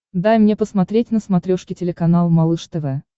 дай мне посмотреть на смотрешке телеканал малыш тв